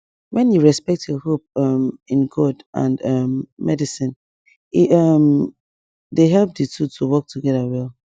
when you respect your hope um in god and um medicine e um dey help di two to work together well